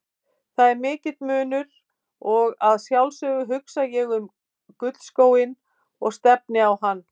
Það er mikill munur og að sjálfsögðu hugsa ég um gullskóinn og stefni á hann.